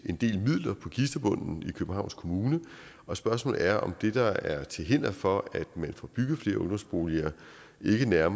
en del midler på kistebunden i københavns kommune og spørgsmålet er om det der er til hinder for at få bygget flere ungdomsboliger ikke mere